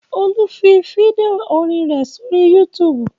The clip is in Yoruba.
Olú fi fídíò orin rẹ̀ sórí YouTube.